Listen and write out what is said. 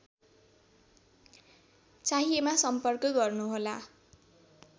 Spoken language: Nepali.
चाहिएमा सम्पर्क गर्नुहोला